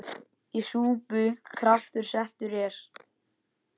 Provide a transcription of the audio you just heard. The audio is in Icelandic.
Í súpu kraftur settur er.